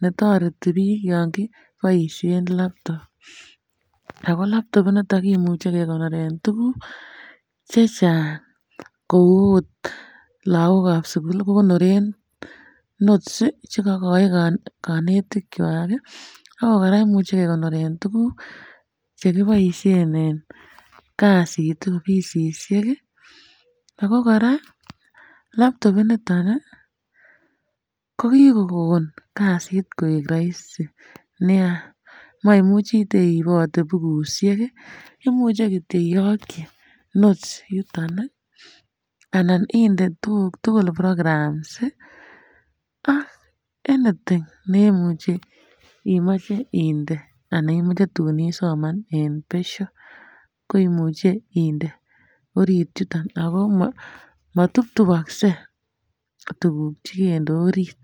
nereti bik yon kiboishen laptop ako laptop initon kimuche kekonoren tukuk che Chang kou ot lokok ab sukul ko konoret notes sii chekokoi konetik kwak kii ak kora imuche kekonoren tukuk che kiboishen en kasit offisisiek kii. Ako Koraa laptop initon nii ko kikokon kasit koik roisi nia moimuchi teibote bukushek kii imuche kityok iyoki notes yuton nii anan inde tukuk tukul programs sii ak anything neimuchi imoche inde anan imuche tuk isoman en besho koimuche inde orit yuton, ako motuptubokse tukuk chekende orit.